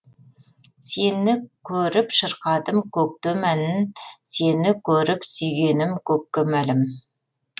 сені көріп шырқадым көктем әнін сені көріп сүйгенім көкке мәлім